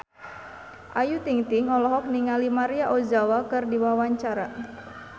Ayu Ting-ting olohok ningali Maria Ozawa keur diwawancara